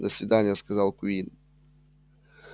до свидания сказал куинн